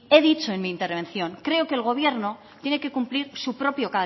he dicho en mi intervención que creo que el gobierno tiene que cumplir su propio